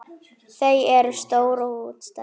Þau eru stór og útstæð.